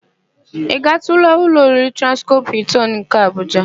Ị gaatụla ụlọ oriri Transcọp Hịltịn nke Abuja?